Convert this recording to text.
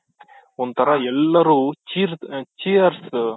ಒಂಥರ ಎಲ್ಲರೂ cheers